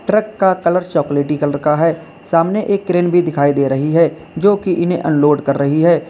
Truck का colour चॉकलेटी colour का है। सामने एक क्रेन भी दिखाई दे रही है जो कि इन्हें अनलोड कर रही है।